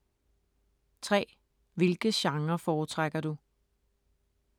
3) Hvilke genrer foretrækker du?